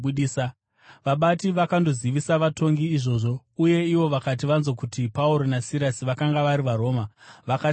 Vabati vakandozivisa vatongi izvozvo, uye ivo vakati vanzwa kuti Pauro naSirasi vakanga vari vaRoma, vakatya kwazvo.